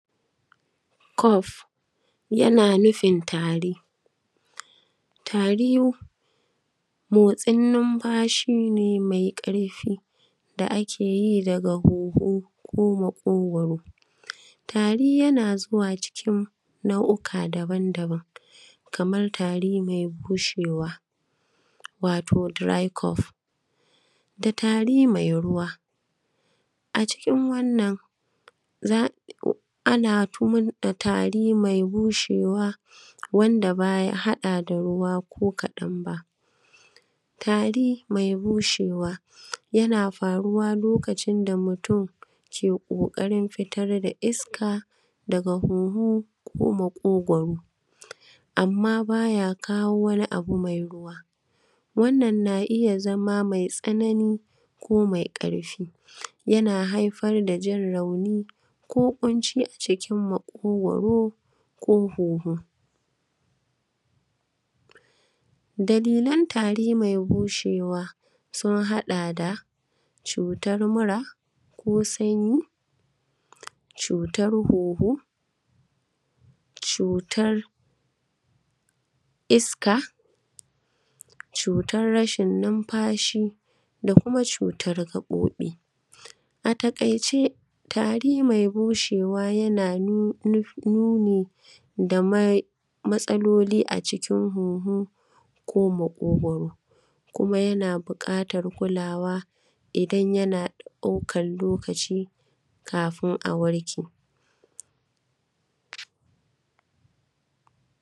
Cough yana nufin tari. Tari motsin numfashi ne mai ƙarfi da ake yi daga hunhu ko makogwaro, tari yana zuwa cikin nau’uka daban-daban kaman tari mai bushewa, wato dry cough da tari mai ruwa. A cikin wannan ana tumar da tari mai bushewa wanda ba ya haɗa ruwa ko koɗan ba tari mai bushewa, yana faruwa lokacin da mutum ke ƙoƙarin fitaar da iska daga hunhu ko makogwaro amma baya kawo wani abu mai ruwa, wannan na iya zama mai tsanani ko mai ƙarfi kuma yana haifar da jin rauni ko ƙunci a cikin makogwaro ko hunhu. Dalilan tari mai bushewa sun haɗa da cutar mura ko sanyi, cutar hunhu, cutar iska, cutar rashin numfashi, da kuma cutar gaɓoɓi. A takaice tari mai bushewa yana nuni da matsaloli a cikin hunhu ko makogwaro kuma yana buƙatar kulawa idan yana ɗaukar lokacin kafin a warke.